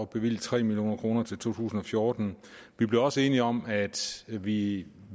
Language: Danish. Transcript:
bevilge tre million kroner til to tusind og fjorten vi blev også enige om at vi